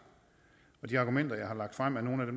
og de argumenter jeg har lagt frem er nogle af